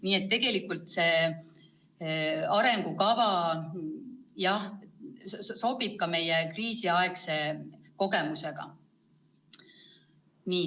Nii et tegelikult see arengukava sobib ka meie kriisiaegsete kogemustega.